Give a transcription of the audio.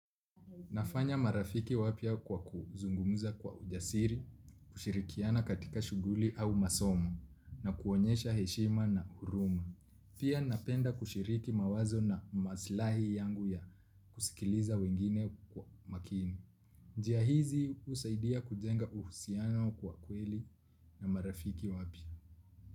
Nafanya marafiki wapya kwa kuzungumuza kwa ujasiri, kushirikiana katika shughuli au masomo, na kuonyesha heshima na huruma. Pia napenda kushiriki mawazo na maslahi yangu ya kusikiliza wengine kwa makini. Njia hizi husaidia kujenga uhusiano kwa kweli na marafiki wapya.